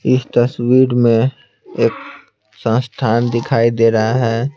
इस तस्वीर में एक संस्थान दिखाई दे रहा है।